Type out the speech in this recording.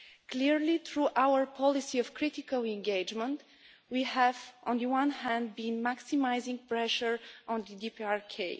Clearly, through our policy of critical engagement, we have been maximising pressure on the DPRK.